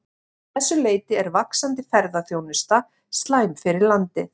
Að þessu leyti er vaxandi ferðaþjónusta slæm fyrir landið.